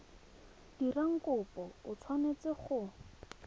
dirang kopo o tshwanetse go